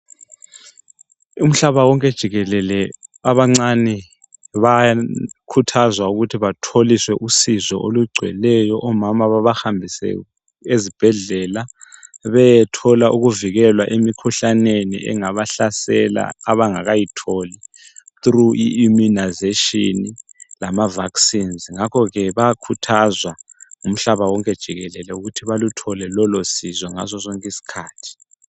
Umhlabawonke jikelele abancane bakhuthazwa ukuthi batholiswe usizo olugcwelweyo omama babahambise ezibhedlela bayethola ukuvikelwa emikhuhlaneni engabahlasela abangakayitholi through immunisation lamavacines ngakhoke bayakhuthazwa umhlaba wonke jikelele ukuthi baluthole lolosizo ngasosonke isikhathi.